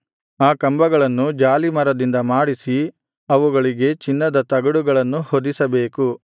ಆ ಕಂಬಗಳನ್ನು ಜಾಲೀಮರದಿಂದ ಮಾಡಿಸಿ ಅವುಗಳಿಗೆ ಚಿನ್ನದ ತಗಡುಗಳನ್ನು ಹೊದಿಸಬೇಕು